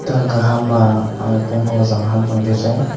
tang ga hama aga koi po zanha taichat.